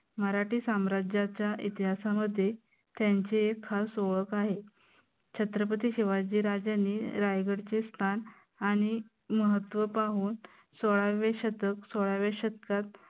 मराठी साम्राज्याच्या इतिहासामध्ये त्यांची एक खास ओळख आहे. छत्रपती शिवाजी राज्यांनी रायगडचे स्थान आणि महत्व पाहून सोळावे शतक सोळाव्या शतकात